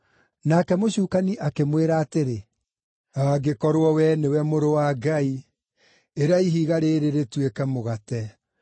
Nake mũcukani akĩmwĩra atĩrĩ, “Angĩkorwo wee nĩwe Mũrũ wa Ngai, ĩra ihiga rĩrĩ rĩtuĩke mũgate.”